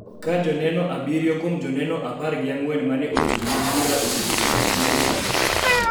ka joneno abiriyo kuom joneno apar gi ang'wen ma ne ochung� ne bura osebedo ka chiwo neno.